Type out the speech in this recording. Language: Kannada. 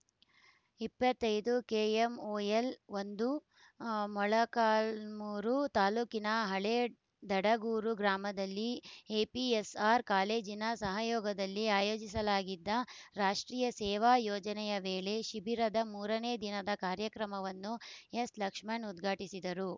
ಇಪ್ಪತ್ತ್ ಐದು ಕೆಎಂಒಎಲ್‌ ಒಂದು ಮೊಳಕಾಲ್ಮುರು ತಾಲೂಕಿನ ಹಳೇ ದಡಗೂರು ಗ್ರಾಮದಲ್ಲಿ ಏಪಿಎಸ್‌ಆರ್‌ ಕಾಲೇಜಿನ ಸಹಯೋಗದಲ್ಲಿ ಆಯೋಜಿಸಲಾಗಿದ್ದ ರಾಷ್ಟ್ರೀಯ ಸೇವಾ ಯೋಜನೆಯ ವೇಳೆ ಶಿಬಿರದ ಮೂರನೇ ದಿನದ ಕಾರ್ಯಕ್ರಮವನ್ನು ಎಸ್‌ಲಕ್ಷ್ಮಣ ಉದ್ಘಾಟಿಸಿದರು